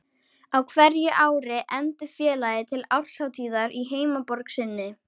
Á hverju ári efndi félagið til árshátíðar í heimaborg sinni